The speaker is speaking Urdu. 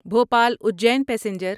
بھوپال اجین پیسنجر